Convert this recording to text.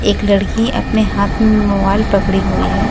एक लड़की अपने हाथ में मोबाइल पकड़ी हुई है।